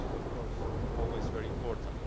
This is, of course, always very important.